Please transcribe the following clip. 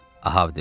Ahab dedi.